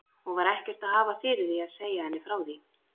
Og var ekkert að hafa fyrir því að segja henni frá því!